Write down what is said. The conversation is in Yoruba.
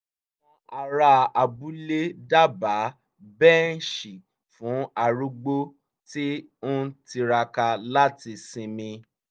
àwọn ará abúlé dábàá bẹ́ǹṣì fún arúgbó tí ń tiraka láti sinmi